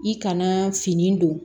I kana fini don